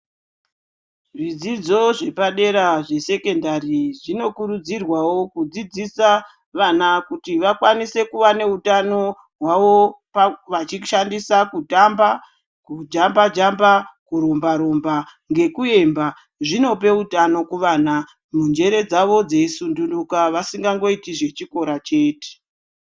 Zvidzidzo zvepadera zvesekendari zvino kurudzirwawo kudzidzisa vana kuti vakwanise kuva neutano hwavo vachishandisa kutamba, kujamba-jamba, kurumba-rumba ngekuemba. Zvinopa utano kuvana, njere dzavo dzeisundunuka, vasingangoiti zvechikora chete.